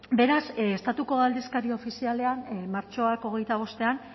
beraz estatuko aldizkari ofizialean martxoak hogeita bostean